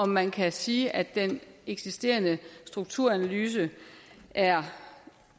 man kan sige at den eksisterende strukturanalyse er